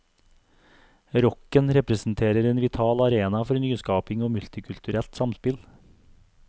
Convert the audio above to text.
Rocken representerer en vital arena for nyskaping og multikulturelt samspill.